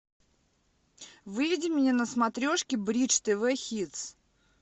выведи мне на смотрешке бридж тв хитс